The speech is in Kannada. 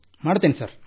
ಮಾಡುತ್ತೇನೆ ಸರ್